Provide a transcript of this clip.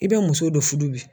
I bɛ muso dɔ furu bi